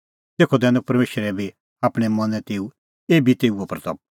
तेखअ करनी परमेशरा बी आपणैं मनैं तेऊए महिमां एभी